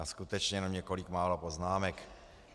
Já skutečně jenom několik málo poznámek.